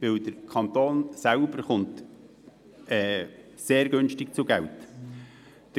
Der Kanton selber kommt sehr günstig zu Geld.